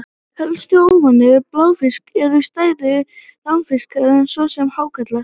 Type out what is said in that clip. Helstu óvinir bláfiska eru stærri ránfiskar, svo sem hákarlar.